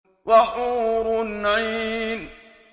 وَحُورٌ عِينٌ